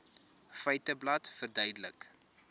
feiteblad verduidelik